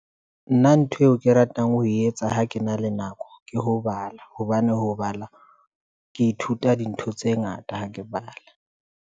Nna ntho eo ke ratang ho etsa ha ke na le nako ke ho bala, hobane ho bala ke ithuta dintho tse ngata ha ke bala.